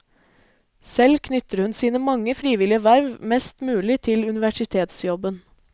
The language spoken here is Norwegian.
Selv knytter hun sine mange frivillige verv mest mulig til universitetsjobben.